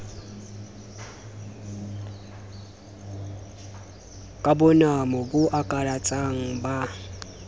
ka bonamo bo akaratsang ba